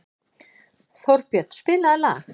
Þórbjörn, spilaðu lag.